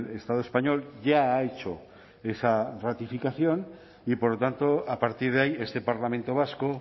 estado español ya ha hecho esa ratificación y por lo tanto a partir de ahí este parlamento vasco